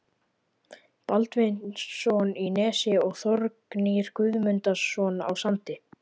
Baldvinsson í Nesi og Þórgnýr Guðmundsson á Sandi.